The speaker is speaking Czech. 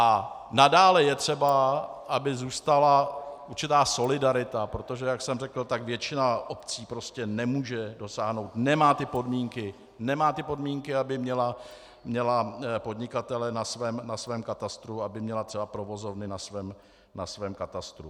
A nadále je třeba, aby zůstala určitá solidarita, protože jak jsem řekl, tak většina obcí prostě nemůže dosáhnout, nemá ty podmínky, nemá ty podmínky, aby měla podnikatele na svém katastru, aby měla třeba provozovny na svém katastru.